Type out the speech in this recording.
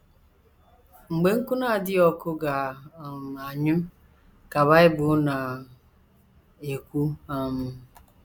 “ Mgbe nkụ na - adịghị ọkụ ga - um anyụ, ” ka Bible na - ekwu. um